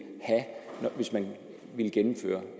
have hvis man ville gennemføre